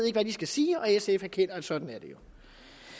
ikke hvad de skal sige og sf erkender at sådan er det